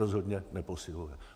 Rozhodně neposiluje.